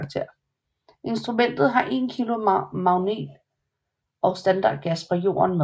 Instrumentet har en 1 kg magnet og standardgas fra Jorden med